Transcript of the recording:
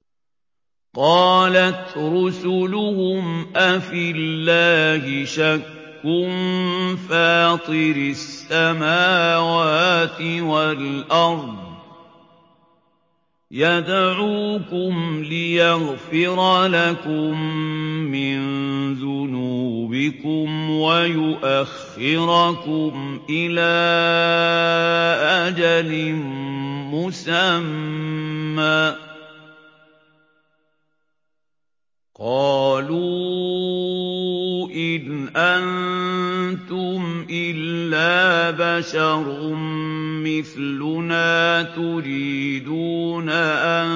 ۞ قَالَتْ رُسُلُهُمْ أَفِي اللَّهِ شَكٌّ فَاطِرِ السَّمَاوَاتِ وَالْأَرْضِ ۖ يَدْعُوكُمْ لِيَغْفِرَ لَكُم مِّن ذُنُوبِكُمْ وَيُؤَخِّرَكُمْ إِلَىٰ أَجَلٍ مُّسَمًّى ۚ قَالُوا إِنْ أَنتُمْ إِلَّا بَشَرٌ مِّثْلُنَا تُرِيدُونَ أَن